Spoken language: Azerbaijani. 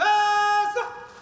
Öt, fasa!